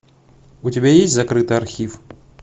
у тебя есть закрытый архив